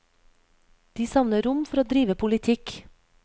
De savner rom for å drive politikk.